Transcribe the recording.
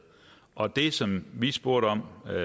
og det som vi spurgte om her